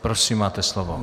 Prosím, máte slovo.